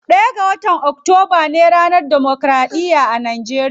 Ɗaya ga watan octoba ne ranar democraɗiya a nageriya.